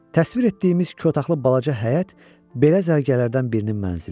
Təsvir etdiyimiz iki otaqlı balaca həyət belə zərgərlərdən birinin mənzili idi.